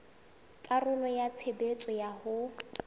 karolo ya tshebetso ya ho